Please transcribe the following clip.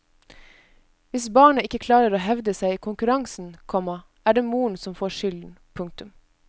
Hvis barnet ikke klarer å hevde seg i konkurransen, komma er det moren som får skylden. punktum